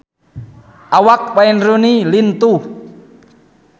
Awak Wayne Rooney lintuh